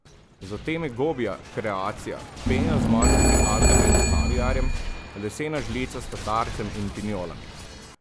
Zatem je gobja kreacija, pena z morskimi algami in kaviarjem, lesena žlica s tatarcem in pinjolami.